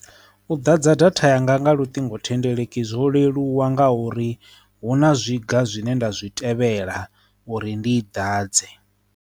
U ḓadza datha yanga nga luṱingothendeleki zwo leluwa nga uri hu na zwiga zwine nda zwi tevhela uri ndi i dwadze.